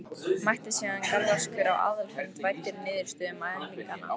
Mætti síðan galvaskur á aðalfund væddur niðurstöðum mælinganna.